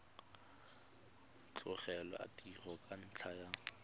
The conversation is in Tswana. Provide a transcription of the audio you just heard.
tlogela tiro ka ntlha ya